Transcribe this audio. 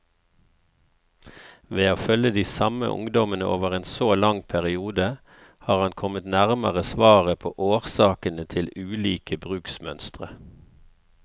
Ved å følge de samme ungdommene over en så lang periode, har han kommet nærmere svaret på årsakene til ulike bruksmønstre.